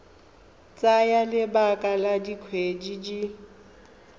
tsaya lebaka la dikgwedi di